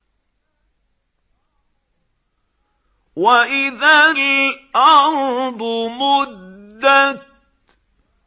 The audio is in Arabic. وَإِذَا الْأَرْضُ مُدَّتْ